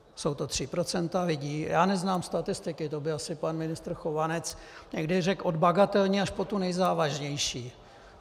Jsou to tři procenta lidí - já neznám statistiky, to by asi pan ministr Chovanec někdy řekl - od bagatelní až po tu nejzávažnější.